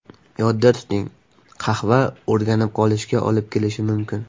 Yodda tuting, qahva o‘rganib qolishga olib kelishi mumkin.